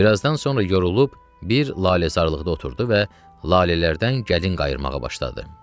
Bir azdan sonra yorulub bir laləzarlıqda oturdu və lalələrdən gəlin qayırmağa başladı.